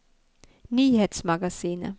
nyhetsmagasinet